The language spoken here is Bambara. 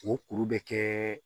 O kuru bɛ kɛ